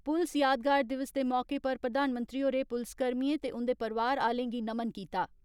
पुलस यादगार दिवस दे मौके पर प्रधानमंत्री होरें पुलसकर्मियें ते उन्दे परिवार आलें गी नमन कीता।